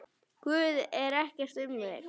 Guði er ekkert um megn.